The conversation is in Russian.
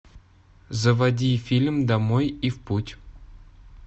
заводи фильм домой и в путь